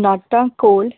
ਨਾਟਾਂ ਕੋਲ